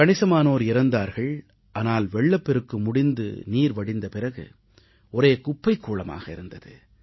கணிசமானோர் இறந்தார்கள் ஆனால் வெள்ளப்பெருக்கு முடிந்து நீர் வடிந்த பிறகு ஒரே குப்பைக் கூளமாக இருந்தது